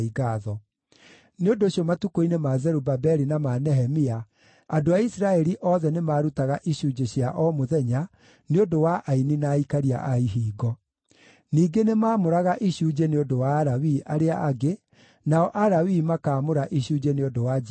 Nĩ ũndũ ũcio matukũ-inĩ ma Zerubabeli na ma Nehemia, andũ a Isiraeli othe nĩmarutaga icunjĩ cia o mũthenya nĩ ũndũ wa aini na aikaria a ihingo. Ningĩ nĩmamũraga icunjĩ nĩ ũndũ wa Alawii arĩa angĩ, nao Alawii makaamũra icunjĩ nĩ ũndũ wa njiaro cia Harũni.